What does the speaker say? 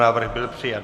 Návrh byl přijat.